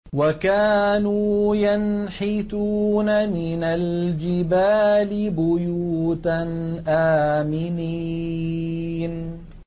وَكَانُوا يَنْحِتُونَ مِنَ الْجِبَالِ بُيُوتًا آمِنِينَ